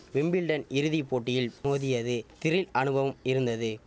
Wimbledon இறுதி போட்டியில் மோதியது திரில் அனுபவம் இருந்தது